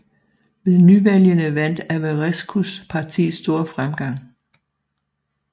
Ved nyvalgene vandt Averescus parti stor fremgang